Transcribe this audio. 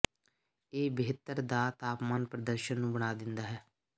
ਇਹ ਬਿਹਤਰ ਦਾ ਤਾਪਮਾਨ ਪ੍ਰਦਰਸ਼ਨ ਨੂੰ ਬਣਾ ਦਿੰਦਾ ਹੈ